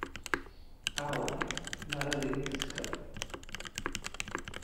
Aaway maradii labiska?